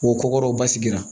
O ko kɔrɔ basigira